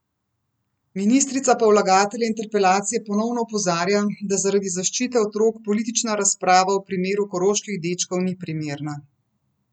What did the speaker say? Ministrica pa vlagatelje interpelacije ponovno opozarja, da zaradi zaščite otrok politična razprava o primeru koroških dečkov ni primerna.